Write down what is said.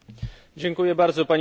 Panie Przewodniczący!